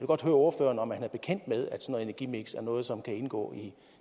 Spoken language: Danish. godt høre ordføreren om han er bekendt med at energimiks er noget som kan indgå